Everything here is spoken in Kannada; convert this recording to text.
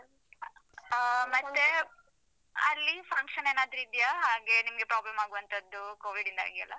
ಅಹ್ ಮತ್ತೆ ಅಲ್ಲಿ function ಏನಾದ್ರು ಇದ್ಯಾ? ಹಾಗೆ ನಿಮ್ಗೆ problem ಆಗುವಂತದ್ದು covid ಯಿಂದಾಗಿ ಎಲ್ಲ?